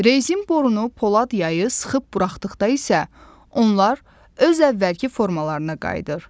Rezin borunu, Polad yayı sıxıb buraxdıqda isə onlar öz əvvəlki formalarına qayıdır.